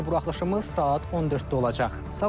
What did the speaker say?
Növbəti buraxılışımız saat 14:00-də olacaq.